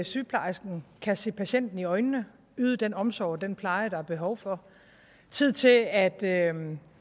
sygeplejersken kan se patienten i øjnene yde den omsorg og den pleje der er behov for tid til at